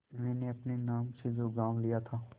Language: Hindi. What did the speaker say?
मैंने अपने नाम से जो गॉँव लिया था